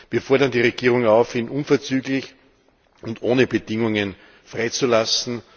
Wir fordern die Regierung auf, ihn unverzüglich und ohne Bedingungen freizulassen.